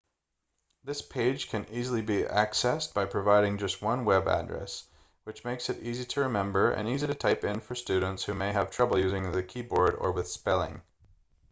this page can easily be accessed by providing just one web address which makes it easy to remember and easy to type in for students who may have trouble using the keyboard or with spelling